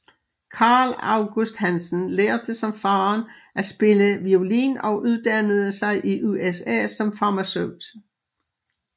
Carl August Hansen lærte som faderen at spille violin og uddannede sig i USA som farmaceut